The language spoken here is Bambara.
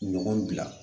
Ɲɔgɔn bila